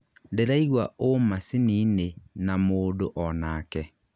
ndĩraigua ũ macininĩ na mũndũ onake